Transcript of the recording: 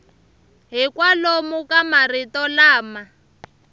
hi kwalomu ka marito lama